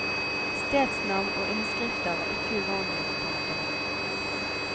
Stedsnavn og innskrifter var ikke uvanlig. punktum